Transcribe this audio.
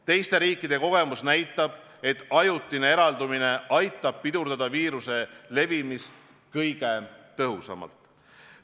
Teiste riikide kogemus näitab, et ajutine eraldumine aitab pidurdada viiruse levimist kõige tõhusamalt.